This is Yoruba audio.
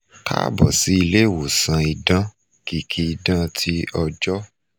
kaabọ si ile iwosan idan - kiki idan ti ọjọ